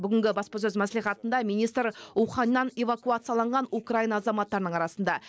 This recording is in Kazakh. бүгінгі баспасөз мәслихатында министр уханьннан эвакуацияланған украина азаматтарының арасында